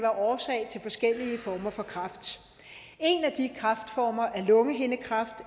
årsag til forskellige former for kræft en af de kræftformer er lungehindekræft